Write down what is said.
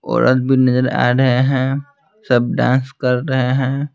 औरत भी नजर आ रहे हैं सब डांस कर रहे हैं।